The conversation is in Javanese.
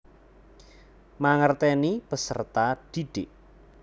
Mangerteni peserta didik